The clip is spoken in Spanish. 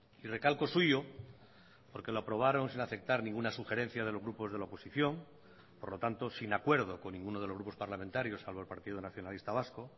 y recalco suyo porque lo aprobaron sin aceptar ninguna sugerencia de los grupos de la oposición por lo tanto sin acuerdo con ninguno de los grupos parlamentarios salvo el partido nacionalista vasco